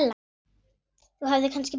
Þú hefðir kannski betur.